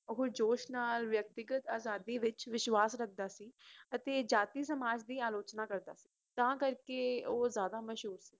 ਓਹ ਜੋਸ਼ ਨਾਲ ਵਿਅਕਤੀਗਤ ਅਜ਼ਾਦੀ ਵਿਚ ਵਿਸ਼ਵਾਸ ਰੱਖਦਾ ਸੀ ਅਤੇ ਅਜ਼ਾਦੀ ਸਮਾਜ ਦੀ ਆਲੋਚਣਾ ਕਰਦਾ ਸੀ ਤਾਂ ਕਰਕੇ ਓਹ ਜਾਦਾ ਮਸ਼ਹੂਰ ਸੀ